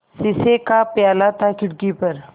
शीशे का प्याला था खिड़की पर